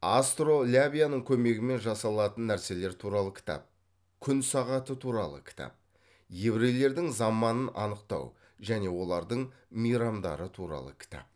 астролябияның көмегімен жасалатын нәрселер туралы кітап күн сағаты туралы кітап еврейлердің заманын анықтау және олардың мейрамдары туралы кітап